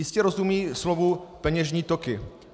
Jistě rozumí slovu peněžní toky.